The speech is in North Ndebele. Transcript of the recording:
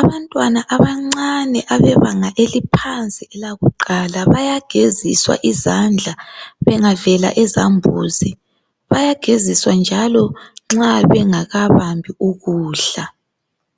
Abantwana abancane abebanga eliphansi elakuqala bayageziswa izandla bengavela ezambuzini. Bayageziswa njalo nxa bengabambi ukudla.